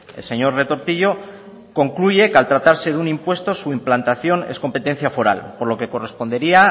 el señor retortillo concluye que al tratarse de un impuesto su implantación es competencia foral por lo que correspondería